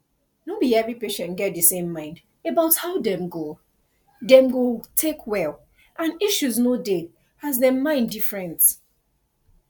no be every patient get di same mind about how dem go dem go take well and issue no dey as dem mind different